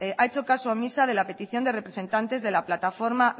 ha hecho caso omiso de la petición de representantes de la plataforma